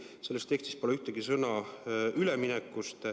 / Selles tekstis pole ühtegi sõna üleminekust.